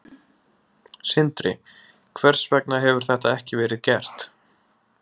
Sindri: Hvers vegna hefur þetta ekki verið gert?